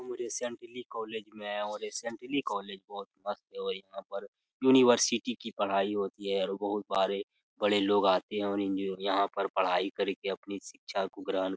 उ recently college में आया हूँ और रिसेंटली कॉलेज बहुत मस्त है और यहाँ पर यूनिवर्सिटी की पढ़ाई होती है और बहोत बारे बड़े लोग आते हैं और यहाँ पे पढ़ाई कर के अपनी शिक्षा को ग्रहण --